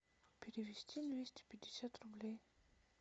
перевести двести пятьдесят рублей